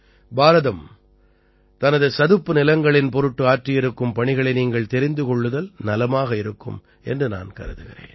பாரதம் தனது சதுப்பு நிலங்களின் பொருட்டு ஆற்றியிருக்கும் பணிகளை நீங்கள் தெரிந்து கொள்ளுதல் நலமாக இருக்கும் என்று நான் கருதுகிறேன்